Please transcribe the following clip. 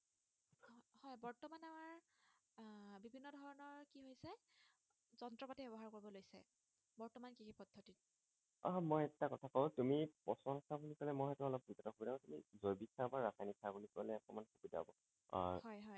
আহ মই এটা কথা কওঁ তুমি প্ৰচনসাৰ বুলি কলে মই সেইটো অলপ কৰো জৈৱিক সাৰ বা ৰাসায়নিক সাৰ বুলি কলে অকমান সুবিধা হব আহ হয় হয়